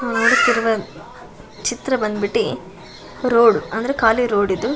ನೋಡುತ್ತಿರುವ ಚಿತ್ರ ಬಂದ್ ಬಿಟ್ಟು ರೋಡ್ ಅಂದ್ರೆ ಖಾಲಿ ರೋಡ್ ಇದು.